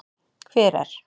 Hver er.